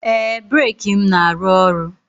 Ee, breeki m na-arụ ọrụ